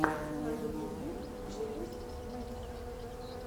на ютубе джеймс мэкс